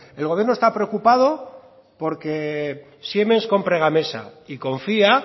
el gobierno está preocupado por que siemens compre gamesa y confía